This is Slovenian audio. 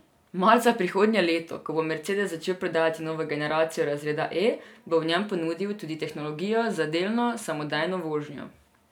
Marca prihodnje leto, ko bo Mercedes začel prodajati novo generacijo razreda E, bo v njem ponudil tudi tehnologijo za delno samodejno vožnjo.